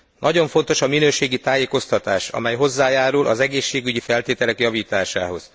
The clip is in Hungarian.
Nagyon fontos a minőségi tájékoztatás, amely hozzájárul az egészségügyi feltételek javításához.